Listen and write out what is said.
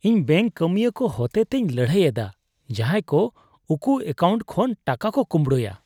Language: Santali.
ᱤᱧᱫᱚ ᱵᱮᱝᱠ ᱠᱟᱹᱢᱤᱭᱟᱹ ᱠᱚ ᱦᱚᱛᱮᱛᱮᱧ ᱞᱟᱹᱲᱦᱟᱹᱭ ᱮᱫᱟ ᱡᱟᱦᱟᱸᱭ ᱠᱚ ᱩᱠᱩ ᱮᱠᱟᱣᱩᱱᱴ ᱠᱷᱚᱱ ᱴᱟᱠᱟ ᱠᱚ ᱠᱳᱢᱵᱲᱳᱭᱟ ᱾